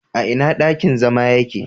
Ina dakin zama yake?